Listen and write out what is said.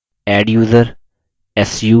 su